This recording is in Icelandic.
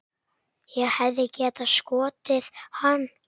Ég hefði getað skotið hann.